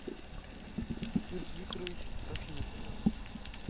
фирс викторович трофимов